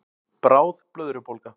Bráð blöðrubólga